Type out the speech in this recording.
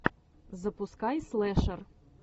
запускай слэшер